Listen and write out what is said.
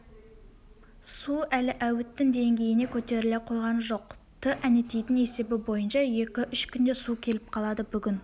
су әлі әуіттің деңгейіне көтеріле койған жоқ-ты әнетейдің есебі бойынша екі-үш күнде су келіп қалады бүгін